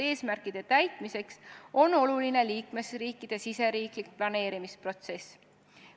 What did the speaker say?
Eesmärkide täitmiseks on oluline liikmesriikide riigisisene planeerimisprotsess.